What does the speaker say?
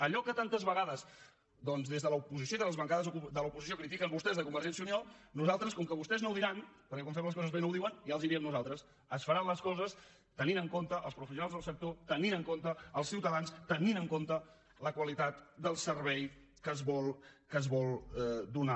allò que tantes vegades doncs de l’oposició i de les bancades de l’oposició critiquen vostès de convergència i unió nosaltres com que vostès no ho diran perquè quan fem les coses bé no ho diuen ja els ho diem nosaltres es faran les coses tenint en compte els professionals del sector tenint en compte els ciutadans tenint en compte la qualitat del servei que es vol donar